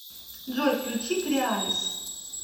джой включи креалис